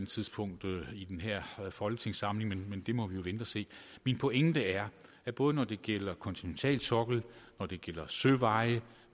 tidspunkt i den her folketingssamling men det må vi vente og se min pointe er at både når det gælder kontinentalsokkel når det gælder søveje